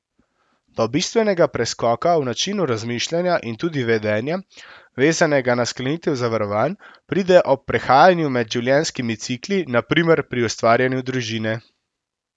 Do bistvenega preskoka v načinu razmišljanja in tudi vedenja, vezanega na sklenitev zavarovanj, pride ob prehajanju med življenjskimi cikli, na primer pri ustvarjanju družine.